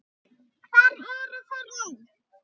Hvar eru þeir nú?